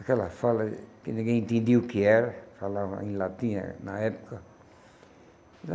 Aquela fala que ninguém entendia o que era, falava em latim eh na época.